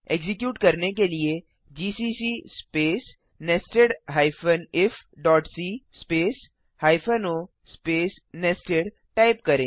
execute करने के लिए जीसीसी स्पेस nested ifसी space hyphen o space nested type करें